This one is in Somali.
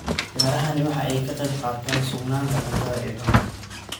Beerahani waxa ay ka qayb qaataan sugnaanta cuntada ee dalka.